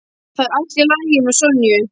Það er allt í lagi með Sonju.